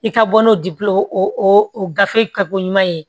I ka bɔ n'o o gafe ka ko ɲuman ye